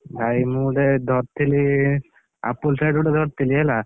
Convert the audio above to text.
ଭାଇ ମୁଁ ଗୋଟେ ଧର, ଥିଲି, Apple set ଗୋଟେ ଧରିଥିଲି ହେଲା?